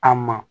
A ma